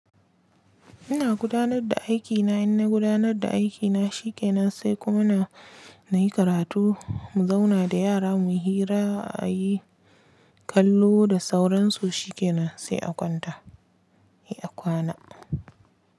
Ina gudanar da aikina, in na gudanar da aikina shi ke nan sai kuma na, na yi karatu. Mu zauna da yara mu hira a yi kallo da sauransu shi ke nan sai a kwanta, a kwana.